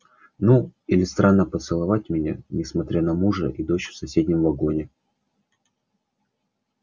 ну или странно поцеловать меня несмотря на мужа и дочь в соседнем вагоне